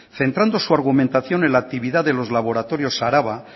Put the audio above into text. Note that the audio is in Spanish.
centrando su argumentación en la actividad de los laboratorios araba